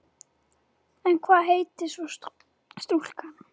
En hvað heitir svo stúlkan?